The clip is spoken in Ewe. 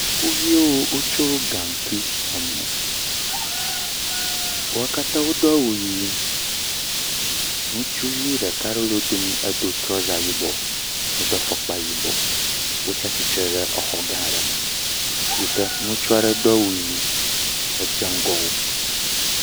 Sukuviwo tsyɔ gankui emo wo katã wodo awu ɣi ŋutsuvi ɖeka aɖe le wodomi edo trɔza yibɔ edo afɔkpa yibɔ wotia titre ɖe xɔ aɖe me yike ŋutsu aɖe do awu ɣi dze ŋgɔ wo